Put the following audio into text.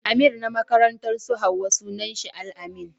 Amir na makarantar su Hauwa sunan shi Al-amin.